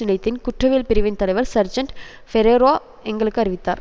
நிலையத்தின் குற்றவியல் பிரிவின் தலைவர் சர்ஜன்ட் பெரேரோ எங்களுக்கு அறிவித்தார்